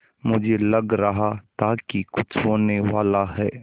मुझे लग रहा था कि कुछ होनेवाला है